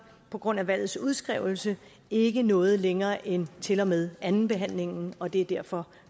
på grund af valgets udskrivelse ikke nåede længere end til og med andenbehandlingen og det er derfor